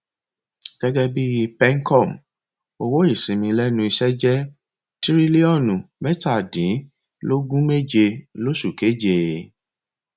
gẹgẹ bí pencom owó ìsinmi lẹnu iṣẹ jẹ tírílíọnù mẹtadínlógúnméje lóṣù keje